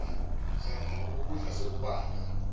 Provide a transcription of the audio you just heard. zama ukukudla sekubanda